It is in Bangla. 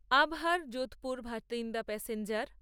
আবহার যোধপুর ভাতিন্দা প্যাসেঞ্জার